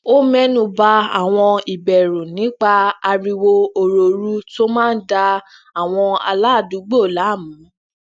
ó ménu ba awọn ìbèrù nípa ariwo orooru tó máa ń da awọn aládùúgbò laamu